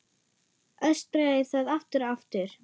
Öskraði það aftur og aftur.